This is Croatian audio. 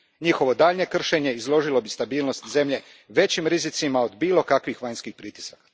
Njihovo daljnje kršenje izložilo bi stabilnost zemlje većim rizicima od bilo kakvih vanjskih pritisaka.